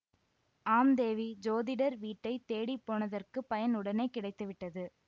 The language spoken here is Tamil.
ஆம் தேவி ஜோதிடர் வீட்டைத் தேடி போனதற்குப் பயன் உடனே கிடைத்து விட்டது